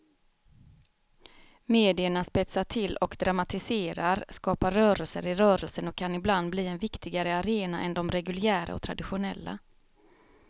Medierna spetsar till och dramatiserar, skapar rörelser i rörelsen och kan ibland bli en viktigare arena än de reguljära och traditionella.